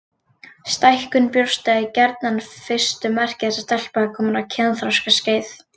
Stækkun brjósta er gjarnan fyrstu merki þess að stelpa er komin á kynþroskaskeið.